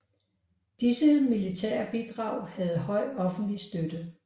Disse militære bidrag havde høj offentlig støtte